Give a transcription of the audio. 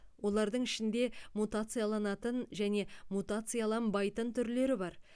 олардың ішінде мутацияланатын және мутацияланбайтын түрлері бар